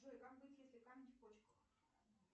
джой как быть если камни в почках